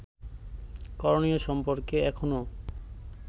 করণীয় সম্পর্কে এখনও